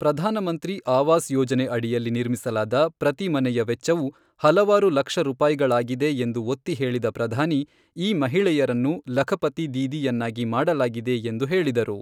ಪ್ರಧಾನಮಂತ್ರಿ ಆವಾಸ್ ಯೋಜನೆ ಅಡಿಯಲ್ಲಿ ನಿರ್ಮಿಸಲಾದ ಪ್ರತಿ ಮನೆಯ ವೆಚ್ಚವು ಹಲವಾರು ಲಕ್ಷ ರೂಪಾಯಿಗಳಾಗಿದೆ ಎಂದು ಒತ್ತಿಹೇಳಿದ ಪ್ರಧಾನಿ ಈ ಮಹಿಳೆಯರನ್ನು ಲಖಪತಿ ದೀದಿ ಯನ್ನಾಗಿ ಮಾಡಲಾಗಿದೆ ಎಂದು ಹೇಳಿದರು.